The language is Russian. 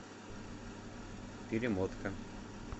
перемотка